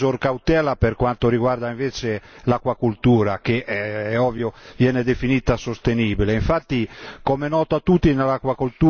Volevo solo fare un piccolo appunto per una maggiore cautela per quanto riguarda invece l'acquacoltura che è ovvio viene definita sostenibile.